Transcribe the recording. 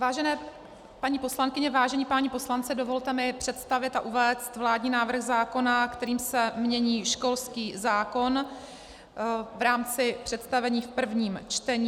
Vážené paní poslankyně, vážení páni poslanci, dovolte mi představit a uvést vládní návrh zákona, kterým se mění školský zákon v rámci představení v prvním čtení.